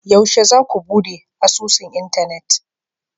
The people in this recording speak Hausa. yaushe zaku bude asusun Internet?